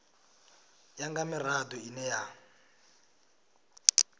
ya nga mirado ine ya